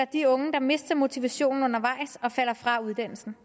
de unge der mister motivationen undervejs og falder fra uddannelsen